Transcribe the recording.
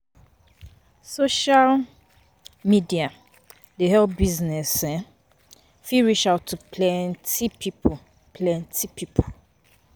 Social um media dey help business um fit reach out to planty pipo planty pipo